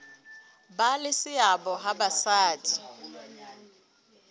ba le seabo ha basadi